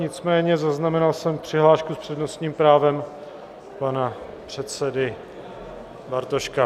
Nicméně zaznamenal jsem přihlášku s přednostním právem pana předsedy Bartoška.